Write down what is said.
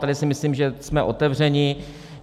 Tady si myslím, že jsme otevřeni.